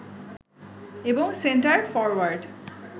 এবং centre forward